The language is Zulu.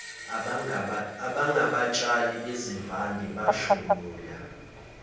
abangabatshali bezivande bahlomula